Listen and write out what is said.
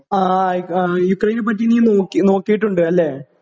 ആ ആയി യുക്രൈന് പറ്റി നീ നോക്കി നോക്കിയിട്ട് ഉണ്ട് അല്ലേ